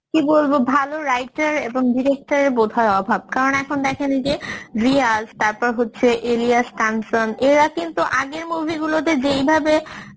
কি বলবো? ভালো writer এবং director এর বোধহয় অভাব কারণ এখন দেখেন এই যে যে রিয়াজ তারপর হচ্ছে এলিয়াস কাঞ্চন এরা কিন্তু আগের movie গুলোতে যেইভাবে